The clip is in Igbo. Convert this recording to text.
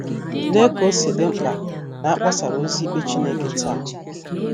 Lee ka o si dị mkpa na a kpọsara ozi ikpe Chineke taa!